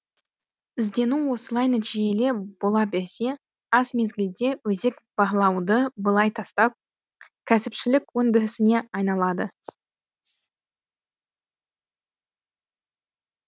іздену осылай нәтижелі бола берсе аз мезгілде өзек барлауды былай тастап кәсіпшілік өндірісіне айналады